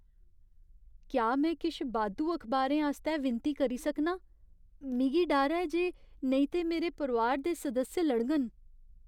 क्या में किश बाद्धू अखबारें आस्तै विनती करी सकनां? मिगी डर ऐ जे नेईं ते मेरे परोआर दे सदस्य लड़ङन।